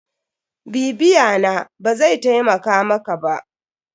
BIbiya na, bazai taimaka maka ba.